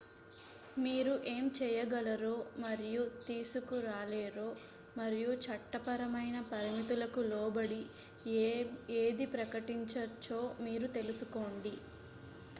మీరు ఏం చేయగలరో మరియు తీసుకురాలేరో మరియు చట్టపరమైన పరిమితులకు లోబడి ఏది ప్రకటించచ్చో మీరు తెలుసుకోండి